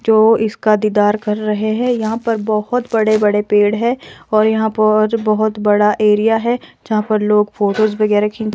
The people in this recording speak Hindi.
जो इसका दीदार कर रहे हैं यहां पर बहुत बड़े बड़े पेड़ है और यहां पर बहुत बड़ा एरिया है यहां पर लोग फोटोस वगैरह खी--